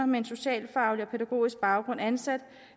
med en socialfaglig og pædagogisk baggrund ansat